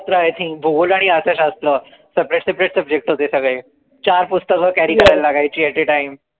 शस्त्र I think भूगोल आणि अर्थशास्त्र separate separate subject होते सगळे चार पुस्तक carry लागायची at a time